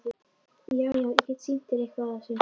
Já, já- ég get sýnt þér eitthvað af þessu.